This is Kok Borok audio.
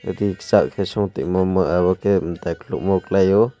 twi kisa so te omo ke tai kulugmo kalai o.